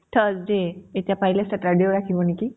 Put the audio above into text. thursday, এতিয়া পাৰিলে saturday ও ৰাখিব নেকি ?